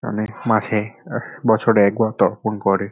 মানে মাসে এক বছরে একবার তর্পন করে ।